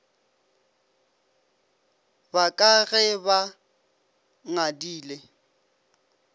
ba ka ge ba ngadile